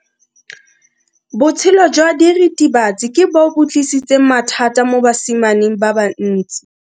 Botshelo jwa diritibatsi ke bo tlisitse mathata mo basimaneng ba bantsi.